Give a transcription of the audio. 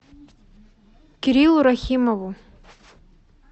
кириллу рахимову